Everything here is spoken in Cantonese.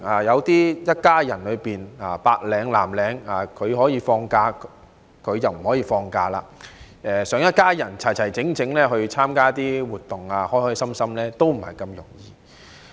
一家人中有白領、有藍領，一個可以放假，另一個卻不可以，想一家人齊齊整整、開開心心參加一些活動也不是這麼容易。